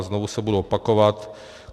A znovu se budu opakovat.